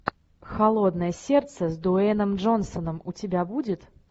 холодное сердце с дуэйном джонсоном у тебя будет